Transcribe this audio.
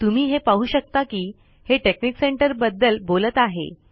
तुम्ही हे पाहू शकता कि हे टेकनिक सेंटर बद्दल बोलत आहे